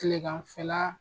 kileganfɛla